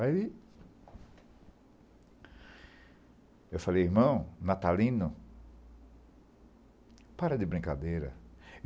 Aí, eu falei, irmão, Natalino, para de brincadeira.